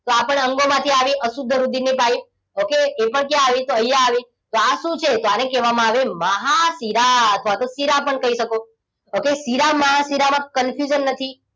આ પણ અંગોમાંથી આવી અશુદ્ધ રુધિરની પાઇપ okay એ પણ ક્યાં આવી તો અહીંયા આવી આ શું છે આને કહેવામાં આવે મહાશિરા અથવા તો શીરા પણ કહી શકો okay શિરા મહાશીરામાં confusion નથી